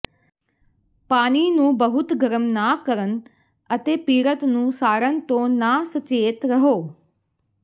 ਪਾਣੀ ਨੂੰ ਬਹੁਤ ਗਰਮ ਨਾ ਕਰਨ ਅਤੇ ਪੀੜਤ ਨੂੰ ਸਾੜਣ ਤੋਂ ਨਾ ਸਚੇਤ ਰਹੋ